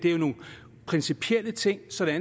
er jo nogle principielle ting sådan